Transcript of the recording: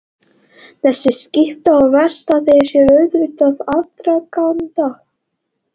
Þessi skipti á verustað eiga sér auðvitað aðdraganda.